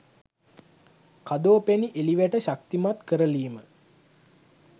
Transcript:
කදෝ පැණි එළි වැට ශක්තිමත් කරලීම